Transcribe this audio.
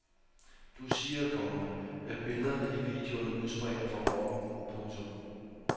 Du siger, komma at billederne i videoerne udspringer fra rocken. punktum